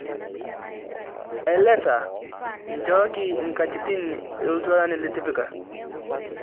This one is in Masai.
elexa nchooki nkatitin ooltualan litipika